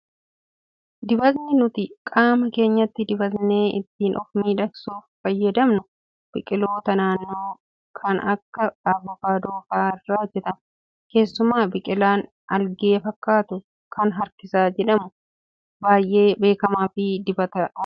Dibatni nuti qaama keenya dibatnee ittiin of miidhagsuuf fayyadamnu biqiloota naannoo kan akka avokaadoo fa'aa irraa hojjatamu. Keessumaa biqilaan aalgee fakkaatu kan harkisa jedhamu baay'ee beekamaa fi dibata oomishuuf ni oola.